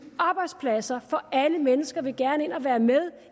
arbejdspladser for alle mennesker vil gerne ind og være med